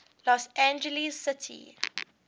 los angeles city